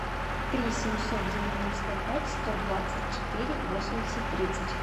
три семьсот девяносто пять сто двадцать четыре восемьдесят тридцать